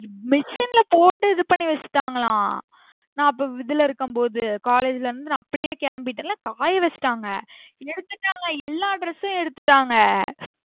Machine ல போட்டு இது பண்ணி வச்சிடாங்களா நா அப்போ இதுல இருக்கும் போது college ல இருந்து நா அப்பியே கிளம்பிடென்ல காய வச்சிடாங்க, எடுத்துட்டாங்க, எல்லா dress எடுத்துட்டாங்க.